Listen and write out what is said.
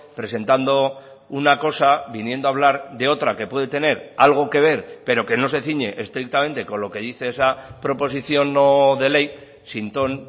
presentando una cosa viniendo a hablar de otra que puede tener algo que ver pero que no se ciñe estrictamente con lo que dice esa proposición no de ley sin ton